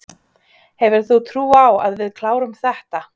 Hefur þú trú á að við klárum þetta?